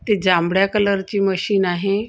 ती जांभळ्या कलरची मशीन आहे अ--